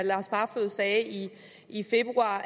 lars barfoed sagde i februar